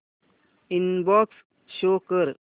inbox show कर